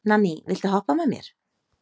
Nanný, viltu hoppa með mér?